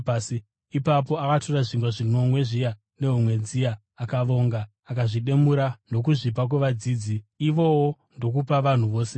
Ipapo akatora zvingwa zvinomwe zviya nehove dziya, akavonga, akazvimedura ndokuzvipa kuvadzidzi, ivowo ndokupa vanhu vose.